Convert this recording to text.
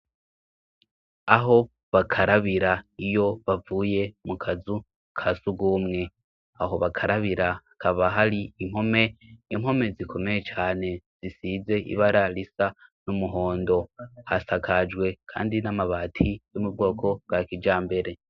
Aho bakarabira iyo bavuye mu kazu ka sugumwe aho bakarabira kaba hari impome impome zikomeye cane zisize ibararisa n'umuhondo hasakajwe, kandi n'amabati youmu bwoko bwa kija mbere.